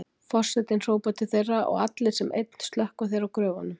Forsetinn hrópar til þeirra og allir sem einn slökkva þeir á gröfunum.